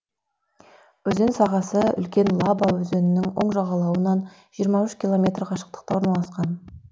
өзен сағасы үлкен лаба өзенінің оң жағалауынан жиырма үш километр қашықтықта орналасқан